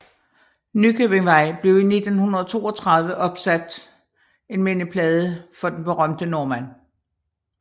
Nykøbingvej blev i 1932 opsat en mindeplade for den berømte nordmand